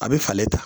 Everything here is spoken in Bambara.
A bɛ falen ta